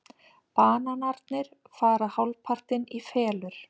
Bananarnir fara hálfpartinn í felur.